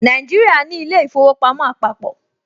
Nàìjíríà ní ilé-ìfowópamọ́ àpàpọ̀